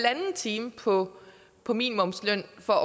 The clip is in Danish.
time på på minimumsløn for at